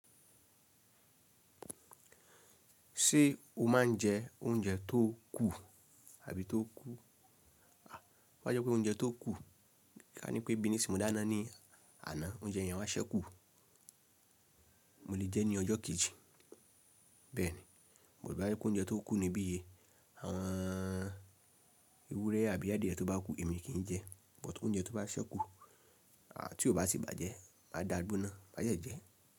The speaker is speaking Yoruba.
Ṣé o máa ń jẹ oúnjẹ tó kù àbí tó kú? Bo bá jẹ́ pé oúnjẹ tó kù, a ní pé bíní sì mo dáná ní àná oúnjẹ èèyàn má ṣẹ́kù. Mo lè jẹ ní ọjọ́ kejì. Bẹ́ẹ̀ni, mo rí i bá jẹ́ pé oúnjẹ tó kú ni bíye, àwọn ewúrẹ́ àbí adìẹ tó bá kú èmi kì í jẹ. But ounjẹ tó bá ṣẹ́kù à tí ó bá sì bàjẹ́ máa dáa gbona máà dẹ jẹ.